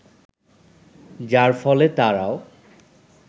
যার ফলে তারাও